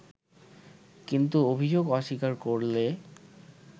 কিন্তু অভিযোগ অস্বীকার করলে